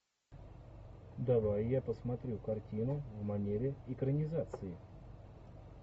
давай я посмотрю картину в манере экранизации